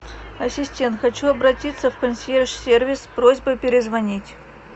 ассистент хочу обратиться в консьерж сервис с просьбой перезвонить